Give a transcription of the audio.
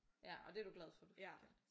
Ja og det er du glad for du fik gjort?